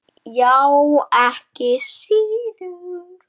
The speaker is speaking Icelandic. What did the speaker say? Já, ekki síður.